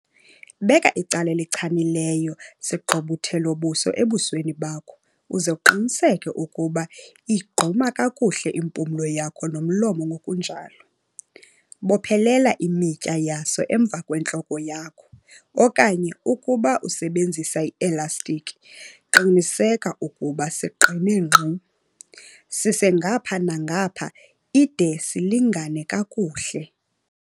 Beka icala elichanekileyo sigqubuthelo-buso ebusweni bakho, uze uqinisekise ukuba iyigquma kakuhle impumlo yakho nomlomo ngokunjalo. Bophelela imitya yaso emva kwentloko yakho, okanye ukuba usebenzisa eselastikhi, qinisekisa ukuba siqine ngqi. Sise ngapha nangapha ide silingane kakuhle.